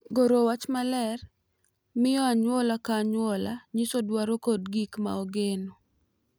Goro wach maler miyo anyuola ka anyuola nyiso dwaro kod gik ma ogeno,